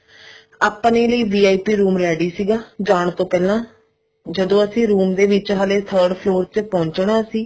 ਆਪਣੇ ਲਈ VIP room ready ਸੀਗਾ ਜਾਂ ਤੋਂ ਪਹਿਲਾਂ ਜਦੋਂ ਅਸੀਂ room ਦੇ ਵਿੱਚ ਹਲੇ third floor ਤੇ ਪਹੁੰਚਣਾ ਸੀ